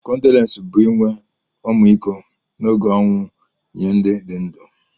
kọndoles bu inwe ọmịkọ na oge onwụ nye ndi di ndu..